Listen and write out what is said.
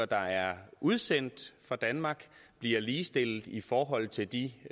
der er udsendt fra danmark bliver ligestillet i forhold til de